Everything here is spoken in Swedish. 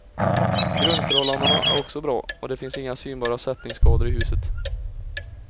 Grundförhållandena är också bra, och det finns inga synbara sättningsskador i huset.